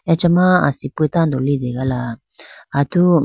acha ma asipi tando litegala atu--